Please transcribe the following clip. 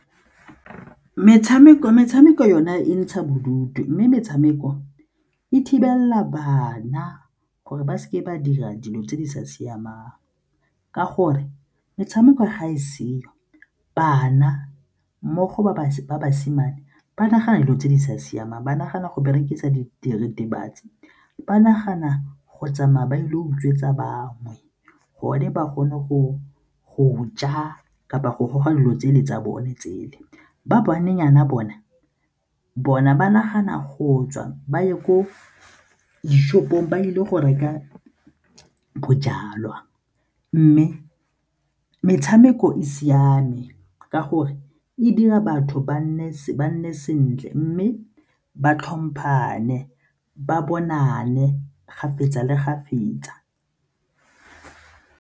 Metshameko yona e ntsha bodutu mme metshameko e thibelela bana gore ba seke ba dira dilo tse di sa siamang ka gore metshameko ga e seo, bana mmogo ba basimane ba nagana dilo tse di sa siamang ba nagana go berekisa diritibatsi ba nagana go tsamaya ba ile go utswetsa bangwe gonne ba gone go go ja kapa go goga dilo tse le tsa bone tsele. Ba banenyana bona, bona ba nagana go tswa ba ye ko le di-shop-ong ba ile go reka bojalwa mme metshameko e siame ka gore e dira batho ba nne sentle mme ba tlhomphane, ba bonane kgapetsa le kgapetsa.